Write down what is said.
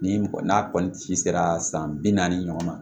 Ni mɔgɔ n'a kɔni ci sera san bi naani ɲɔgɔn na